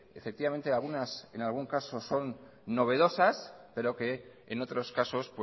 efectivamente algunas en algún caso son novedosas pero que en otros casos